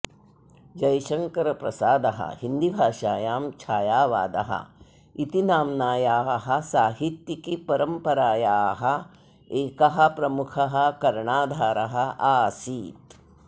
जयशंकर प्रसादः हिन्दीभाषायां छायावाद इति नाम्नायाः साहित्यिकीपरम्परायाः एकः प्रमुखः कर्णधारः आसीत्